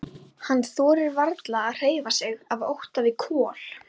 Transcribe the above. Hann þorir varla að hreyfa sig af ótta við Kol.